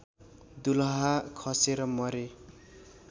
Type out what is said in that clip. दुलहा खसेर मरे